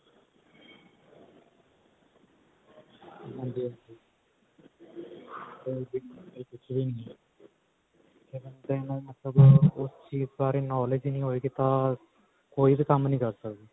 ਹਾਂਜੀ ਹਾਂਜੀ education ਤੋਂ ਬਿਨਾ ਕੁੱਛ ਵੀ ਨਹੀਂ ਹੈ ਤੇ ਬੰਦੇ ਨੂੰ ਮਤਲਬ ਉਸ ਚੀਜ ਬਾਰੇ knowledge ਹੀ ਨਹੀਂ ਹੋਏਗੀ ਤਾਂ ਕੋਈ ਵੀ ਕੰਮ ਨਹੀਂ ਕਰ ਸਕਦਾ